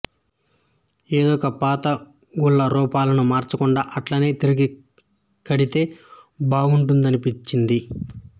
ఎందుకో పాతగుళ్ళ రూపాలను మార్చకుండా అట్లనే తిరిగి కడితే బాగుండుననిపించింది